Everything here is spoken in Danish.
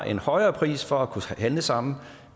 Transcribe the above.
en højere pris for at kunne handle sammen og